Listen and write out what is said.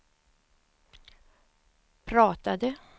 pratade